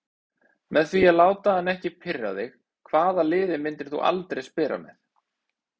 Með því að láta hann ekki pirra þig Hvaða liði myndir þú aldrei spila með?